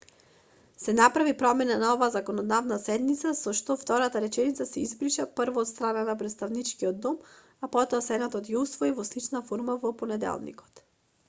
се направи промена на оваа законодавна седница со што втората реченица се избриша прво од страна на претставничкиот дом а потоа сенатот ја усвои во слична форма во понеделникот